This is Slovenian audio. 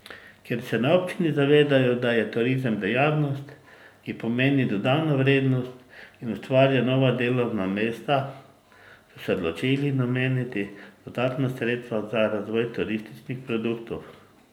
Ker se na občini zavedajo, da je turizem dejavnost, ki pomeni dodano vrednost in ustvarja nova delovna mesta, so se odločili nameniti dodatna sredstva za razvoj turističnih produktov.